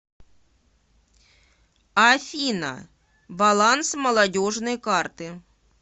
афина баланс молодежной карты